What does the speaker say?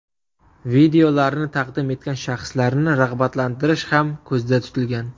Videolarni taqdim etgan shaxslarni rag‘batlantirish ham ko‘zda tutilgan.